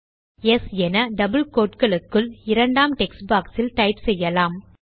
yes என double quotes களுக்குள் இரண்டாம் டெக்ஸ்ட் பாக்ஸ் இல் டைப் செய்யலாம்